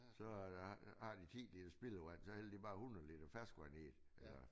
Så der har de 10 liter spildevand så hælder de bare 100 liter ferskvand i